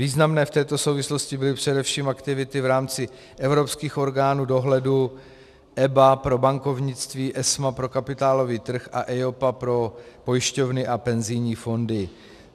Významné v této souvislosti byly především aktivity v rámci evropských orgánů dohledu EBA pro bankovnictví, ESMA pro kapitálový trh a EIOPA pro pojišťovny a penzijní fondy.